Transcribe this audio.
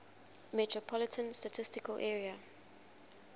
metropolitan statistical area